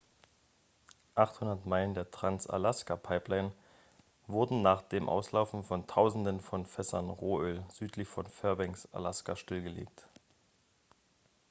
800 meilen der trans-alaska-pipeline wurden nach dem auslaufen von tausenden von fässern rohöl südlich von fairbanks alaska stillgelegt